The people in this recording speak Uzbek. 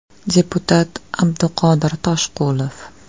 Deputat Abduqodir Toshqulov.